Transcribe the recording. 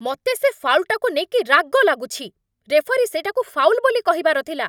ମତେ ସେ ଫାଉଲ୍‌ଟାକୁ ନେଇକି ରାଗ ଲାଗୁଛି! ରେଫରୀ ସେଇଟାକୁ ଫାଉଲ୍ ବୋଲି କହିବାର ଥିଲା ।